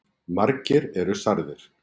Margir eru særðir